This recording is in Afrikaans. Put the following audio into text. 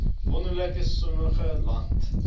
wonderlike sonnige land